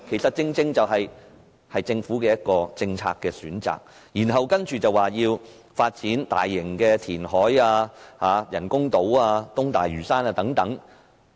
這正是政府的政策選擇，它還說要發展大型填海、人工島、東大嶼山等。